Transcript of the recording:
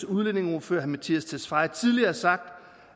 udlændingeordfører herre mattias tesfaye tidligere har sagt